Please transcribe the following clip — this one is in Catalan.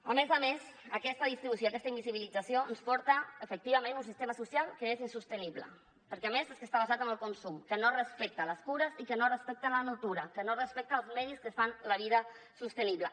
a més a més aquesta distribució i aquesta invisibilització ens porta efectivament a un sistema social que és insostenible perquè a més és que està basat en el consum que no respecta les cures i que no respecta la natura que no respecta els medis que fan la vida sostenible